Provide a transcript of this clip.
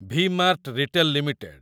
V mart retail limited